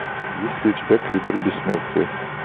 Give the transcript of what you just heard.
есть ли у тебя коридор бессмертия